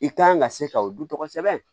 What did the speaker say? I kan ka se ka o du tɔgɔ sɛbɛn